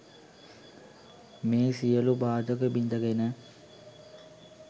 මේ සියලු බාධක බිඳ ගෙන